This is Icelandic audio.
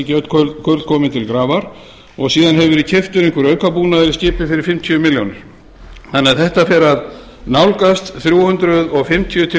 ekki öll kurl komin til grafar og síðan hefur verið keyptur einhver aukabúnaður í skipið fyrir fimmtíu milljónir króna þannig að þetta fer að nálgast þrjú hundruð fimmtíu til